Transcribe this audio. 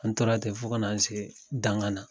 An tora tɛ fo ka na se dan kana.